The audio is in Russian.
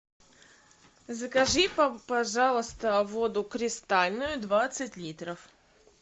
закажи пожалуйста воду кристальную двадцать литров